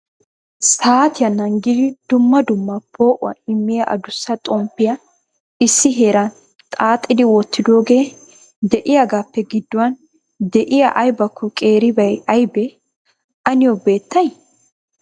Saatiya naagidi dumma dumma poo'uwaa immiya adussa xomppiya issi heeran xaaxxidi wottidooge de'iyaagappe gidduwan de'iyaa aybakko qeeeribay aybbe? A niyo beettay?